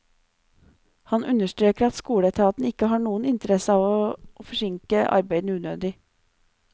Han understreker at skoleetaten ikke har noen interesse av å forsinke arbeidene unødig.